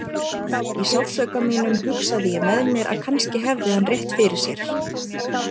Í sársauka mínum hugsaði ég með mér að kannski hefði hann rétt fyrir sér.